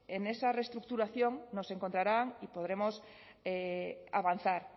en esa reestructuración nos encontrarán y podremos avanzar